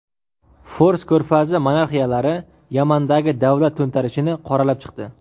Fors ko‘rfazi monarxiyalari Yamandagi davlat to‘ntarishini qoralab chiqdi.